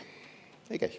Ei käi.